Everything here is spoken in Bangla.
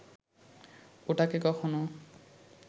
ওটাকে কখনো